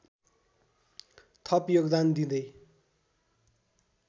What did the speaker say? थप योगदान दिँदै